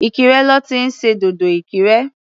Ìkirè lọ́ ti ń ṣe dòdò Ìkirè.